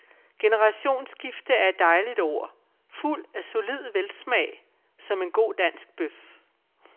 Generationsskifte er et dejligt ord, fuldt af solid velsmag, som en god dansk bøf.